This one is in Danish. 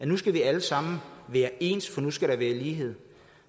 nu skal vi alle sammen være ens for nu skal der være lighed